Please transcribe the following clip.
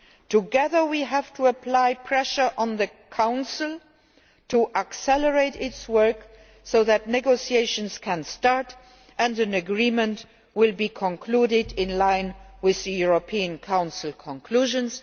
Together, we have to apply pressure on the Council to accelerate its work so that negotiations can start and an agreement can be concluded in line with the European Council conclusions.